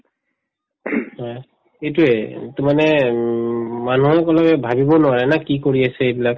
হয় এইটোয়ে এইটো মানে উম মানুহে কোনোয়ে ভাবিব নোৱাৰে না কি কৰি আছে এইবিলাক